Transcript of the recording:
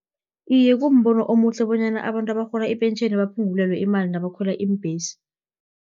Iye, kumbono omuhle, bonyana abantu abarhola ipentjheni, baphungulelwe imali nabakhwela iimbhesi,